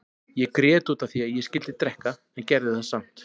Ég grét út af því að ég skyldi drekka en gerði það samt.